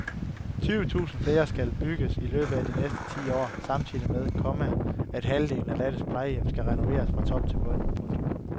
Tyve tusind flere skal bygges i løbet af de næste ti år samtidig med, komma at halvdelen af landets plejehjem skal renoveres fra top til bund. punktum